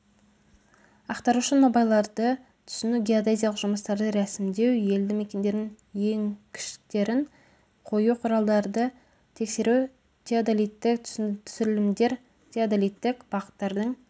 атқарушы нобайларды түсіну геодезиялық жұмыстарды рәсімдеу елді мекендердің еңкіштерін қою құралдарды тексеру теодолиттік түсірілімдер теодолиттік бағыттардың